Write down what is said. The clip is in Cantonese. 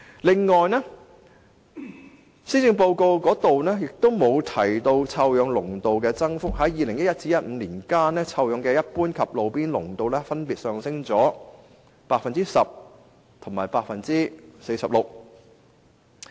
在2011年至2015年間，一般監測站及路邊監測站錄得的臭氧濃度分別上升 10% 及 46%。